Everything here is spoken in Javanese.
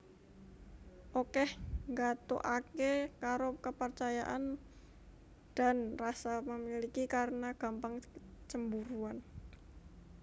Okeh nggathukake karo kepercayaan dan rasa memiliki karena gampang cemburuan